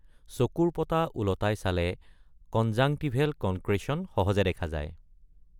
চকুৰ পতা উলটাই চালে কনজাংটিভেল কনক্ৰেচন সহজে দেখা যায়।